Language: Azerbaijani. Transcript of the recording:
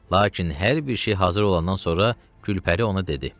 Lakin hər bir şey hazır olandan sonra Gülpəri ona dedi: